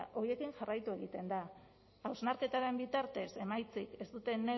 horiekin jarraitu egiten da hausnarketaren bitartez emaitzik